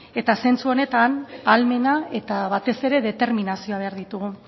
zentzu honetan ahalmena eta batez ere determinazioa behar ditugu